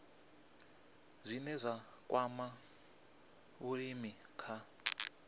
zwine zwa kwama vhulimi kha